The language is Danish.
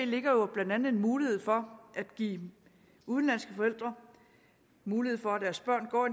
ligger jo blandt andet en mulighed for at give udenlandske forældre mulighed for at deres børn går